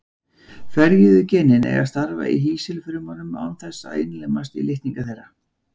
Ferjuðu genin eiga að starfa í hýsilfrumunum án þess að innlimast í litninga þeirra.